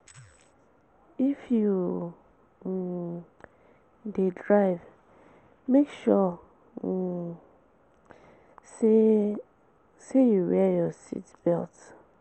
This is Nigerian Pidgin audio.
If you um de drive make sure um say say you wear your seat belt